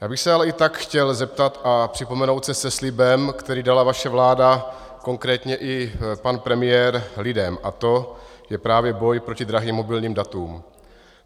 Já bych se ale i tak chtěl zeptat a připomenout se se slibem, který dala vaše vláda, konkrétně i pan premiér, lidem, a to je právě boj proti drahým mobilním datům.